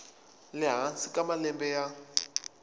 le hansi ka malembe ya